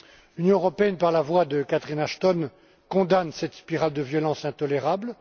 L'Union européenne, par la voix de Catherine Ashton, condamne cette spirale de violence intolérable.